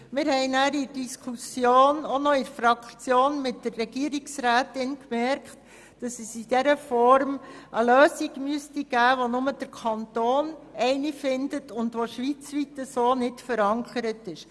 Während der Diskussion innerhalb der Fraktion mit der Regierungsrätin haben wir gemerkt, dass es in dieser Form nur eine Lösung für den Kanton geben könnte, die schweizweit nicht verankert ist.